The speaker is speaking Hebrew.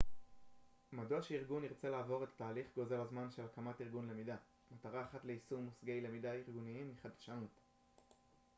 מדוע שארגון ירצה לעבור את התהליך גוזל הזמן של הקמת ארגון למידה מטרה אחת ליישום מושגי למידה ארגוניים היא חדשנות